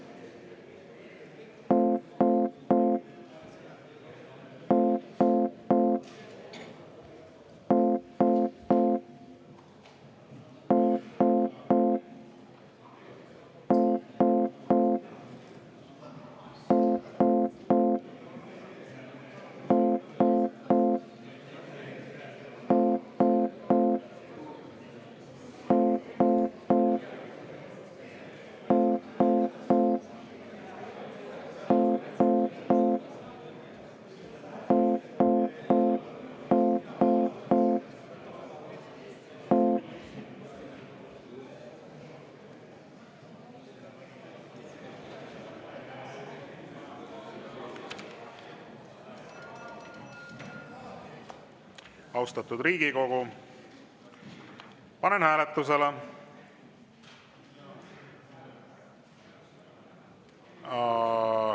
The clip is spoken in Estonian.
Austatud Riigikogu, panen hääletusele ...